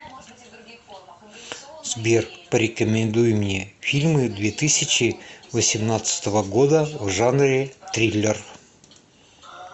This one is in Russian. сбер порекомендуй мне фильмы две тысячи восемнадцатого года в жанре триллер